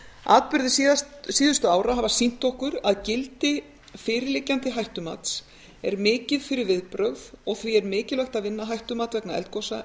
atburðir síðustu ára hafa sýnt okkur að gildi fyrirliggjandi hættumats er mikið fyrir viðbrögð og því er mikilvægt að vinna hættumat vegna eldgosa